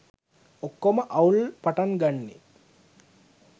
ඔක්කොම අවුල් පටන් ගන්නේ